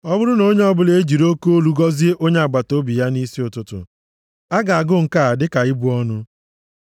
Ọ bụrụ na onye ọbụla e jiri oke olu gọzie onye agbataobi ya nʼisi ụtụtụ a ga-agụ nke a dịka ịbụ ọnụ.